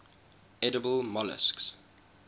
edible molluscs